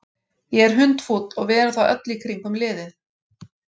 Ég er hundfúll og við erum það öll í kringum liðið.